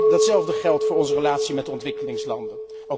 Datzelfde geldt voor onze relatie met de ontwikkelingslanden.